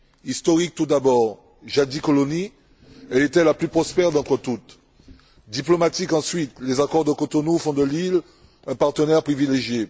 Historiques, tout d'abord jadis colonie, elle était la plus prospère d'entre toutes. Diplomatiques, ensuite les accords de Cotonou font de l'île un partenaire privilégié.